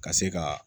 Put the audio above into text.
Ka se ka